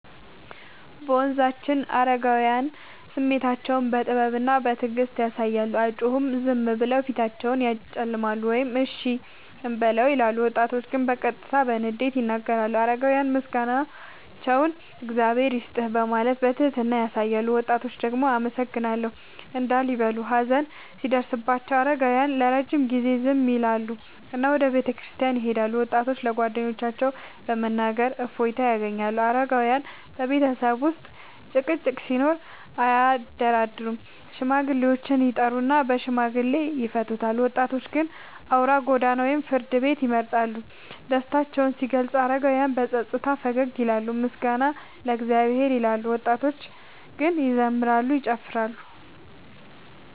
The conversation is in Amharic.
በመንዛችን አረጋውያን ስሜታቸውን በጥበብና በትዕግስት ያሳያሉ፤ አይጮሁም፤ ዝም ብለው ፊታቸውን ያጨለማሉ ወይም “እሺ እንበለው” ይላሉ። ወጣቶች ግን በቀጥታ በንዴት ይናገራሉ። አረጋውያን ምስጋናቸውን “እግዚአብሔር ይስጥህ” በማለት በትህትና ያሳያሉ፤ ወጣቶች ደግሞ “አመሰግናለሁ” እንዳል ይበሉ። ሀዘን ሲደርስባቸው አረጋውያን ለረጅም ጊዜ ዝም ይላሉና ወደ ቤተክርስቲያን ይሄዳሉ፤ ወጣቶች ለጓደኞቻቸው በመናገር እፎይታ ያገኛሉ። አረጋውያን በቤተሰብ ውስጥ ጭቅጭቅ ሲኖር አያደራደሩም፤ ሽማግሌዎችን ይጠሩና በሽምግልና ይፈቱታል። ወጣቶች ግን አውራ ጎዳና ወይም ፍርድ ቤት ይመርጣሉ። ደስታቸውን ሲገልጹ አረጋውያን በጸጥታ ፈገግ ይላሉና “ምስጋና ለእግዚአብሔር” ይላሉ፤ ወጣቶች ግን ይዘምራሉ፤ ይጨፍራሉ።